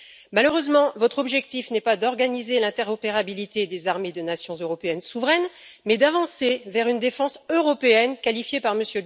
Malheureusement, votre objectif n'est pas d'organiser l'interopérabilité des armées de nations européennes souveraines mais d'avancer vers une défense européenne, qualifiée par M.